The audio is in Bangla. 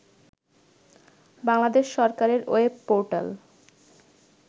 বাংলাদেশ সরকারের ওয়েব পোর্টাল